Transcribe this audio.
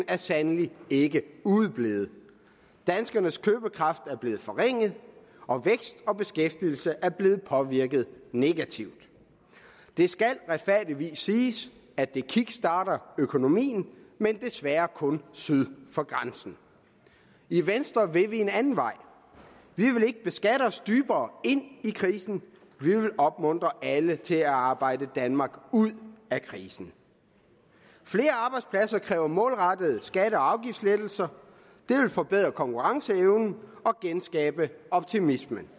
er sandelig ikke udeblevet danskernes købekraft er blevet forringet og vækst og beskæftigelse er blevet påvirket negativt det skal retfærdigvis siges at det kickstarter økonomien men desværre kun syd for grænsen i venstre vil vi en anden vej vi vil ikke beskatte os dybere ind i krisen vi vil opmuntre alle til at arbejde danmark ud af krisen flere arbejdspladser kræver målrettede skatte og afgiftslettelser det vil forbedre konkurrenceevnen og genskabe optimismen